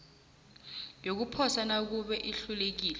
yokuposa nakube ihlukile